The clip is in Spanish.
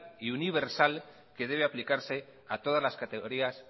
y universal que debe aplicarse a todas las categoría